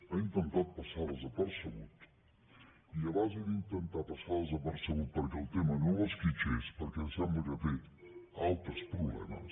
ha intentat passar desapercebut i a base d’intentar passar desapercebut perquè el tema no l’esquitxés perquè sembla que té altres problemes